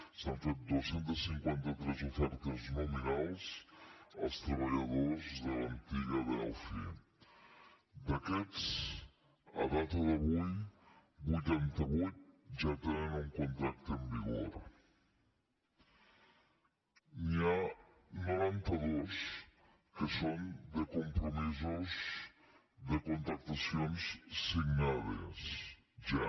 s’han fet dos cents i cinquanta tres ofertes nominals als treballadors de l’antiga delphi d’aquests a data d’avui vuitanta vuit ja tenen un contracte en vigor i n’hi ha noranta dos que són de compromisos de contractacions signades ja